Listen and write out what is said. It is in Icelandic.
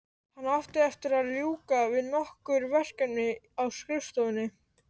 Hann átti eftir að ljúka við nokkur verkefni á skrifstofunni.